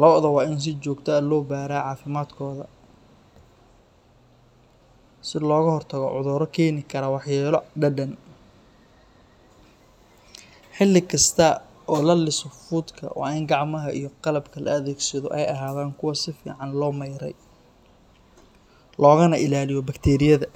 Lo’da waa in si joogto ah loo baaraa caafimaadkooda si looga hortago cudurro keeni kara waxyeello dhadhan. Xilli kasta oo la liso fuudka waa in gacmaha iyo qalabka la adeegsado ay ahaadaan kuwo si fiican loo mayray, loogana ilaalinayo bakteeriyada